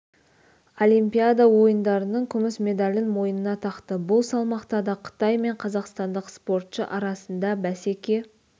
олимпиада ойындарының күміс медалін мойнына тақты бұл салмақта да қытай мен қазақстандық спортшы арасында бәсеке